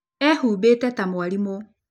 Eehumbĩte ta mwarimũ